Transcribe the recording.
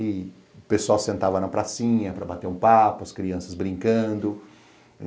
E o pessoal sentava na pracinha para bater um papo, as crianças brincando.